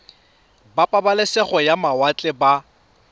ba pabalesego ya mawatle ba